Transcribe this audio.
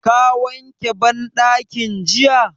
Ka wanke banɗakin jiya?